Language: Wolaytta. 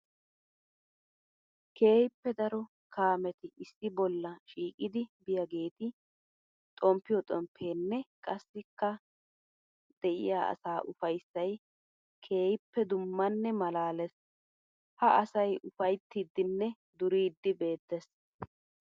Keehippe daro kaametti issi bolla shiiqiddi biyaagetti xomppiyo xomppenne qassikka de'iya asaa ufayssay keehippe dummanne malaalees. Ha asay ufayttidinne duriddi beetes.